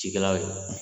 Cikɛlaw